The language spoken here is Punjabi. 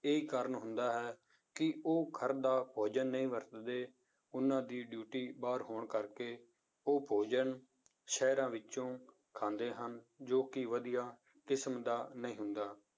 ਇਹੀ ਕਾਰਨ ਹੁੰਦਾ ਹੈ ਕਿ ਉਹ ਘਰ ਦਾ ਭੋਜਨ ਨਹੀਂ ਵਰਤਦੇ ਉਹਨਾਂ ਦੀ ਡਿਊਟੀ ਬਾਹਰ ਹੋਣ ਕਰਕੇ ਉਹ ਭੋਜਨ ਸ਼ਹਿਰਾਂ ਵਿੱਚੋਂ ਖਾਂਦੇ ਹਨ, ਜੋ ਕਿ ਵਧੀਆ ਕਿਸਮ ਦਾ ਨਹੀਂ ਹੁੰਦਾ